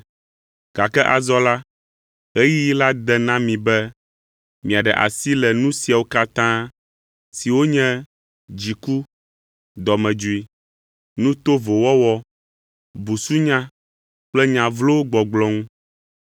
gake azɔ la, ɣeyiɣi la de na mi be miaɖe asi le nu siawo katã, siwo nye: dziku, dɔmedzoe, nu to vo wɔwɔ, busunya kple nya vlowo gbɔgblɔ ŋu.